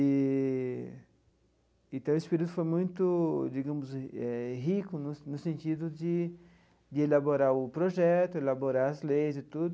Eee então, esse período foi muito, digamos, eh rico no no sentido de de elaborar o projeto, elaborar as leis e tudo.